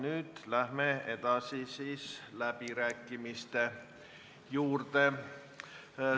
Nüüd läheme edasi läbirääkimiste juurde.